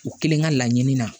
U kelen ka laɲini na